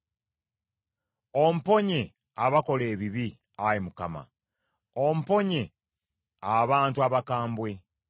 Omponye abakola ebibi, Ayi Mukama , omponye abantu abakambwe;